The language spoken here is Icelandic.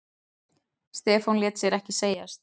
Stefán lét sér ekki segjast.